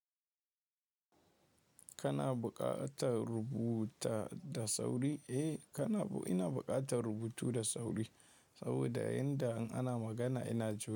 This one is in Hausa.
Kana buƙatar rubuta da sauri? Eh, kana bu ina buƙatar rubutu da sauri saboda yayin da an ana magana ina jima.